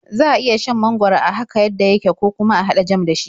Za a iya shan mangwaro haka yadda yake, ko kuma a haɗa jam da shi.